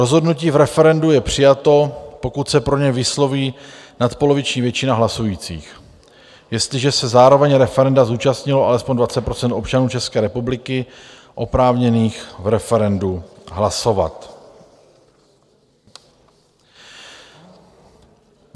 Rozhodnutí v referendu je přijato, pokud se pro něj vysloví nadpoloviční většina hlasujících, jestliže se zároveň referenda zúčastnilo alespoň 20 % občanů České republiky oprávněných v referendu hlasovat.